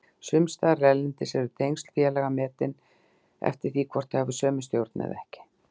Sumstaðar erlendis eru tengsl félaga metin eftir því hvort þau hafi sömu stjórn eða ekki.